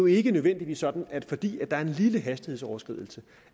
ikke nødvendigvis sådan at fordi der er en lille hastighedsoverskridelse